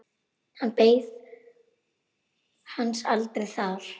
Hann beið hans aldrei þar.